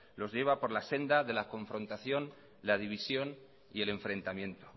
los lleva por la senda de la confrontación la división y el enfrentamiento